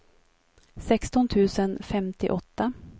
sexton tusen femtioåtta